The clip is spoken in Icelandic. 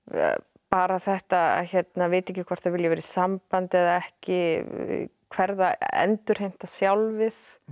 bara þetta að vita ekki hvort það vilji vera í sambandi eða ekki endurheimta sjálfið